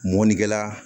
Mɔnikɛla